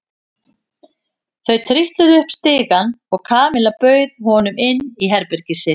Þau trítluðu upp stigann og Kamilla bauð honum inn í herbergið sitt.